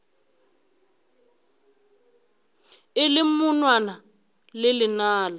e le monwana le lenala